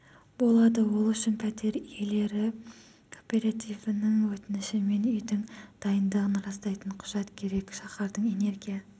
болады ол үшін пәтер иелері кооперативінің өтініші мен үйдің дайындығын растайтын құжат керек шаһардың энергия